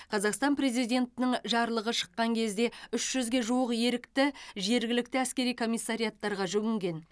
қазақстан президентінің жарлығы шыққан кезде үш жүзге жуық ерікті жергілікті әскери комиссариаттарға жүгінген